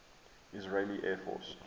israeli air force